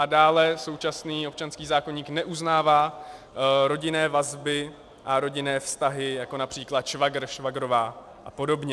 A dále současný občanský zákoník neuznává rodinné vazby a rodinné vztahy, jako například švagr, švagrová a podobně.